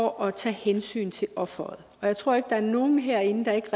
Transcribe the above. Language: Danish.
at tage hensyn til offeret jeg tror ikke der er nogen herinde der ikke